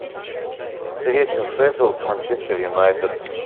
встреча шеффилд манчестер юнайтед